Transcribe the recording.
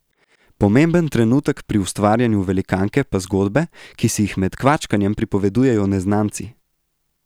Pomemben trenutek pri ustvarjanju velikanke pa zgodbe, ki si jih med kvačkanjem pripovedujejo neznanci.